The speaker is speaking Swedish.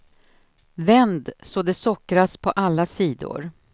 Vänd så de sockras på alla sidor.